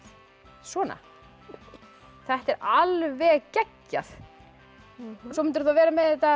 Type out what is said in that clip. svona þetta er alveg geggjað svo myndirðu vera með þetta